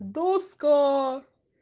доска